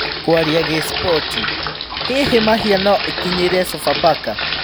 (Kũaria Gĩspoti) Hihi Mahia no-ĩkinyĩre Sofapaka ?